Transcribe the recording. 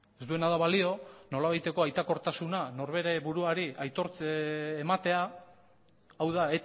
ez duena da balio nolabaiteko aitakortasuna norbere buruari aitortze ematea hau da